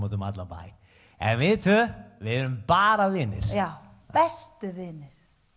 út um allan bæ en við tveir erum bara vinir já bestu vinir